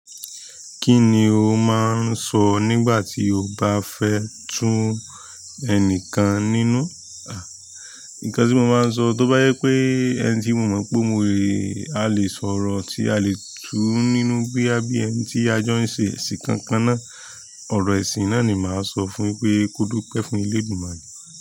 Kí ni o máa ń sọ nígbà tí o bá fẹ́ tún ẹnìkan nínú? Nǹkan tí mo máa ń sọ tó bá jẹ pé ẹni tí mo mọ pé mo rí, a lè sọ̀rọ̀ tí a lè tú nínú bí àbí ẹni tí a jọ ń ṣe ẹ̀sìn kankan náà, ọ̀rọ̀ ẹ̀sìn náà ni màá sọ fún un pé kódúpẹ́ fún elédumare.